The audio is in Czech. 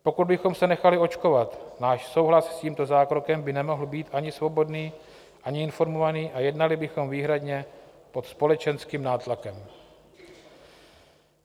Pokud bychom se nechali očkovat, náš souhlas s tímto zákrokem by nemohl být ani svobodný, ani informovaný a jednali bychom výhradně pod společenským nátlakem.